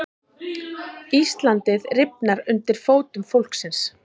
Íslandið rifnar undir fótum fólksins